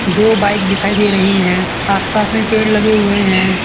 दो बाइक दिखाई दे रही है आसपास में पेड़ लगे हुए हैं।